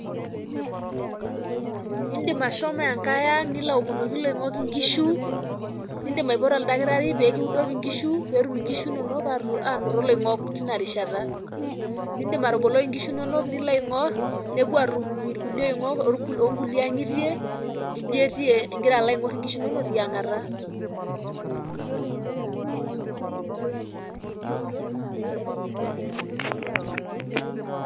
Indim ashomo enkae ang nilo aomonoki iloingok inkishu, nindim aipoto oldakitari pekitudoki inkishu petum inkishu inoto iloingok tina rishata .nindim ataboloi inkishu inono nilo aingor nepuo atum ilkulie oingong ingira alo aingor inkishu inono tiangata.